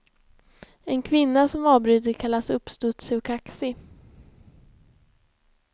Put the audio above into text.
En kvinna som avbryter kallas uppstudsig och kaxig.